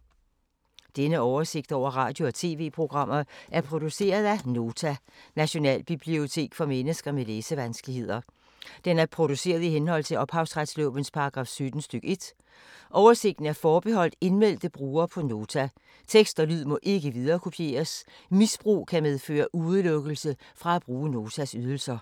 Denne oversigt over radio og TV-programmer er produceret af Nota, Nationalbibliotek for mennesker med læsevanskeligheder. Den er produceret i henhold til ophavsretslovens paragraf 17 stk. 1. Oversigten er forbeholdt indmeldte brugere på Nota. Tekst og lyd må ikke viderekopieres. Misbrug kan medføre udelukkelse fra at bruge Notas ydelser.